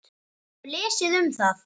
Ég hef lesið um það.